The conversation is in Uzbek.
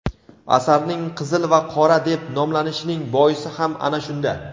Asarning "Qizil va qora" deb nomlanishining boisi ham ana shunda.